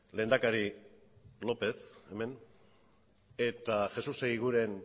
lehendakari lopez hemen eta jesús eguiguren